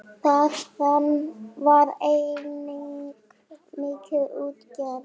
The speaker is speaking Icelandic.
Þaðan var einnig mikil útgerð.